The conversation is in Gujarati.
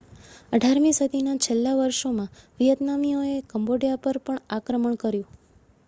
18મી સદીના છેલ્લાં વર્ષોમાં વિયેતનામીઓએ કમ્બોડિયા પર પણ આક્રમણ કર્યું